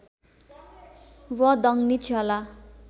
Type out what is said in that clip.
व दङनी क्षला